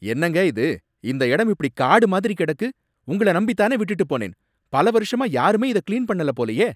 என்னங்க இது? இந்த இடம் இப்படி காடு மாதிரி கிடக்கு, உங்கள நம்பி தானே விட்டுட்டு போனேன், பல வருஷமா யாருமே இத கிளீன் பண்ணல போலயே.